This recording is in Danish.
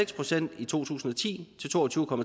procent i to tusind og ti til to og tyve